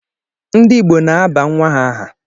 Ndi Igbo na-aba nwa ha aha